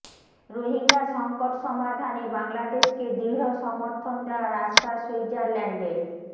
রোহিঙ্গা সংকট সমাধানে বাংলাদেশকে দৃঢ় সমর্থন দেয়ার আশ্বাস সুইজারল্যান্ডের